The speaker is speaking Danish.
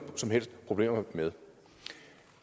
som helst problemer med